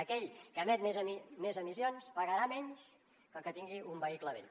aquell que emet més emissions pagarà menys que el que tingui un vehicle vell